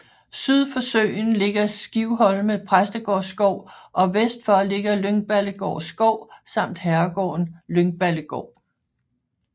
Syd for søen ligger Skivholme Præstegårdsskov og vest for ligger Lyngballegård Skov samt herregården Lyngballegård